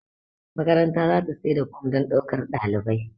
makaranta za ta sai da form don daukar ɗalibai